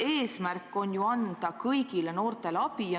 Eesmärk on anda kõigile noortele abi.